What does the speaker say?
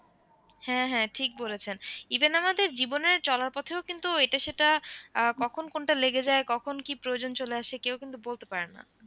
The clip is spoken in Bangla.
হ্যাঁ হ্যাঁ ঠিক বলেছেন even আমাদের জীবনের চলার পথে ও কিন্তু এটা সেটা আহ কখন কোনটা লেগে যায় কখন কি প্রয়োজন চলে আসে কেউ কিন্তু বলতে পারেনা।